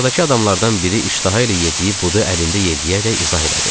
masadakı adamlardan biri iştaha ilə yediyi budu əlində yelləyərək izah elədi.